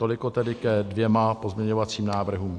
Toliko tedy ke dvěma pozměňovacím návrhům.